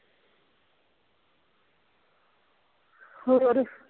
ਹੋਰ